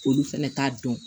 Olu fɛnɛ t'a dɔn